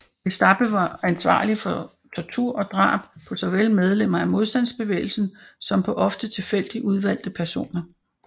Gestapo var ansvarlig for tortur og drab på såvel medlemmer af modstandsbevægelsen som på ofte tilfældigt udvalgte personer